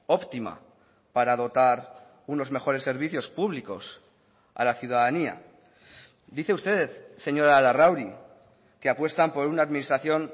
óptima para dotar unos mejores servicios públicos a la ciudadanía dice usted señora larrauri que apuestan por una administración